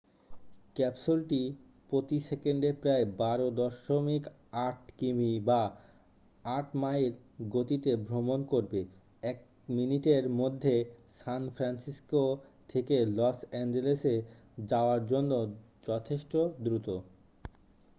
ক্যাপসুলটি প্রতি সেকেন্ডে প্রায় 12.8 কিমি বা 8 মাইল গতিতে ভ্রমণ করবে এক মিনিটের মধ্যে সান ফ্রান্সিসকো থেকে লস অ্যাঞ্জেলেসে যাওয়ার জন্য যথেষ্ট দ্রুত